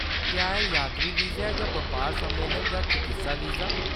क्या एह्‌‌ यात्री वीज़ा ऐ जां बपार, सम्मेलन जां चकित्सा वीज़ा ?